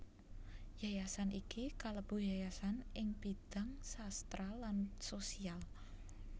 Yayasan iki kalebu yayasan ing bidhang sastra lan sosial